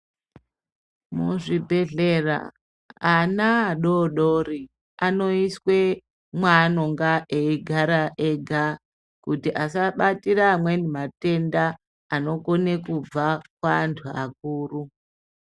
Muzvibhehlera ana adodori anoiswe mwanonga eigara ega kuti asabatira amweni matenda anokone kubva kuantu akuru.